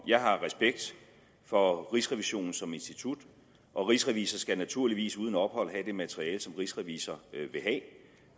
jeg har respekt for rigsrevisionen som institution og rigsrevisor skal naturligvis uden ophold have det materiale som rigsrevisor